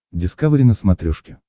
дискавери на смотрешке